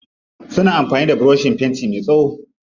Suna amfani da burushin fenti me tsawo.